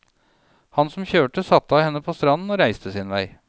Han som kjørte, satte henne av på stranden og reiste sin vei.